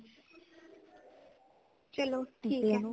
ਚਲੋ ਠੀਕ ਹੈ